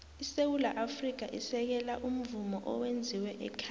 isewula afrika isekela umvumo owenziwe ekhaya